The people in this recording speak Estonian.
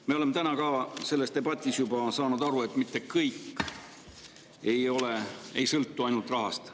Me oleme täna ka selles debatis juba aru saanud, et mitte kõik ei sõltu ainult rahast.